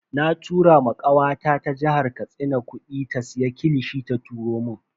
Na tura ma kawata ta jihar Katsina kudi ta siya kilishi ta turo mun.